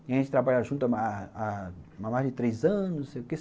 E a gente trabalhou junto há há há mais de três anos, não sei o quê